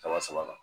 Kalo saba la